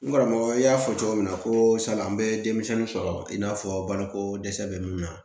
N karamɔgɔ n y'a fɔ cogo min na ko sala an bɛ denmisɛnnin sɔrɔ i n'a fɔ baloko dɛsɛ bɛ minnu na